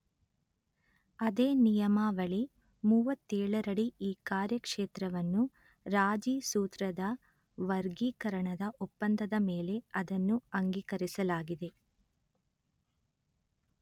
ಅದೇ ನಿಯಮಾವಳಿ ಮೂವತ್ತೇಳರಡಿ ಈ ಕಾರ್ಯಕ್ಷೇತ್ರವನ್ನು ರಾಜಿ ಸೂತ್ರದ ವರ್ಗೀಕರಣದ ಒಪ್ಪಂದದ ಮೇಲೆ ಅದನ್ನು ಅಂಗೀಕರಿಸಲಾಗಿದೆ